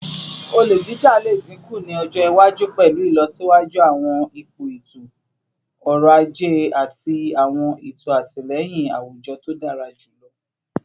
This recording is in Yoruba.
Ole jija le dinku ni ọjọ iwaju pẹlu ilọsiwaju awọn ipo eto-ọrọ aje ati awọn eto atilẹyin awujọ to dara julọ